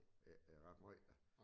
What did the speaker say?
Ikke ret måj da